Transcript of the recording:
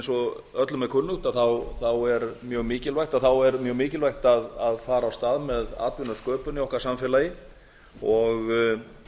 og öllum er kunnugt er mjög mikilvægt að fara af stað með atvinnusköpun í okkar samfélagi og